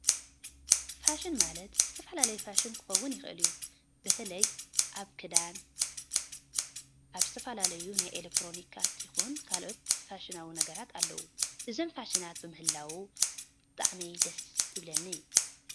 ፋሽን ማለት ዝተፋለለየ ፋሽን ክከውን ይክእል እዩ። በተለይ ኣብ ክዳን ኣብ ዝተፈላለዩ ናይ ኤሎክትሮኒካት ይኩን ካልኦት ፋሽናዊ ነገራት ኣለው። እዞም ፋሽናት ብምህላው ብጣዕሚ ደስ ይብለኒ።